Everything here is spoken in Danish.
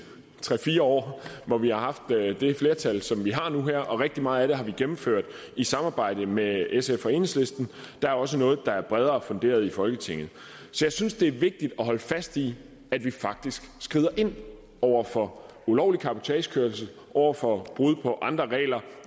tre fire år hvor vi har haft det flertal som vi har nu og rigtig meget af det har vi gennemført i samarbejde med sf og enhedslisten der er også noget der er bredere funderet i folketinget jeg synes det er vigtigt at holde fast i at vi faktisk skrider ind over for ulovlig cabotagekørsel over for brud på andre regler